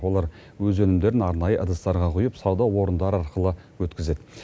олар өз өнімдерін арнайы ыдыстарға құйып сауда орындары арқылы өткізеді